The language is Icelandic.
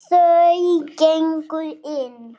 Þau gengu inn.